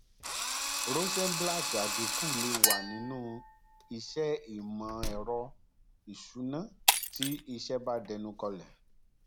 rosenblatt àdínkú lè wà nínú iṣẹ ìmọẹrọ ìsúná tí iṣẹ bá dẹnu kọlẹ